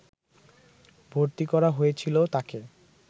ভর্তি করা হয়েছিল তাকে